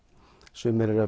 sumir eru að